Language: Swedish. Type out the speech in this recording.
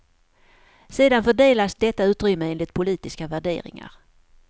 Sedan fördelas detta utrymme enligt politiska värderingar.